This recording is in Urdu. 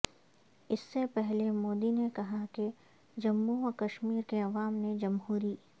اس سے پہلے مودی نے کہا کہ جموں و کشمیر کے عوام نے جمہوری